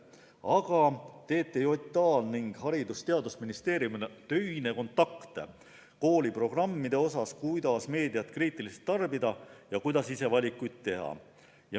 Aga TTJA-l ning Haridus- ja Teadusministeeriumil on töine kontakt kooliprogrammide osas, kuidas meediat kriitiliselt tarbida ja kuidas ise valikuid teha.